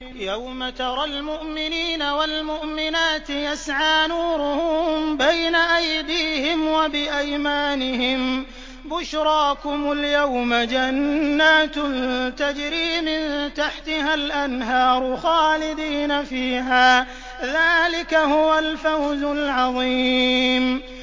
يَوْمَ تَرَى الْمُؤْمِنِينَ وَالْمُؤْمِنَاتِ يَسْعَىٰ نُورُهُم بَيْنَ أَيْدِيهِمْ وَبِأَيْمَانِهِم بُشْرَاكُمُ الْيَوْمَ جَنَّاتٌ تَجْرِي مِن تَحْتِهَا الْأَنْهَارُ خَالِدِينَ فِيهَا ۚ ذَٰلِكَ هُوَ الْفَوْزُ الْعَظِيمُ